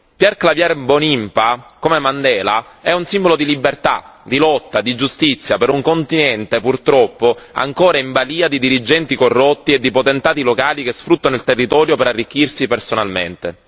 Pierre Claver Mbonimpa, come Mandela, è un simbolo di libertà, di lotta, di giustizia per un continente purtroppo ancora in balia di dirigenti corrotti e di potentati locali che sfruttano il territorio per arricchirsi personalmente.